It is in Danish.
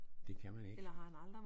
Det kan man ikke